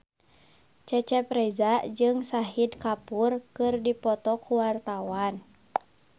Cecep Reza jeung Shahid Kapoor keur dipoto ku wartawan